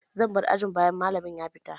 Zan bar ajin bayan malamin ya fita.